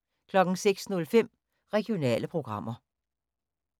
06:05: Regionale programmer